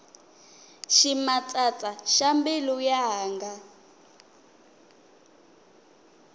ximatsatsa xa mbilu yanga